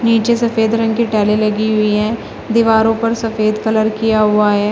नीचे सफेद रंग की टाइले लगी हुई है दीवारों पर सफेद कलर किया हुआ है।